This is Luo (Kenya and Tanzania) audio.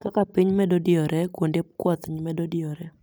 Kaka piny medo diyore, kuonde kwath medo diyore